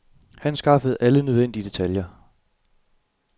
Han skaffede alle nødvendige detaljer.